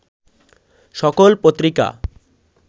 সকল পত্রিকা